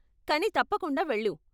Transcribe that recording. కానీ తప్పకుండా వెళ్ళు.